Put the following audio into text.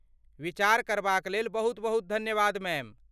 विचार करबाक लेल बहुत बहुत धन्यवाद मैम।